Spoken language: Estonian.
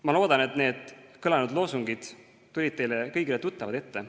Ma loodan, et need kõlanud loosungid tulid teile kõigile tuttavad ette.